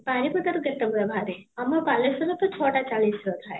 ବାରିପଦାରେ କେତେ ବେଳେ ବାହାରେ ଆମ ବାଲେଶ୍ୱର ରେ ତା ଛତା ଚାଳିଶ ରେ ଥାଏ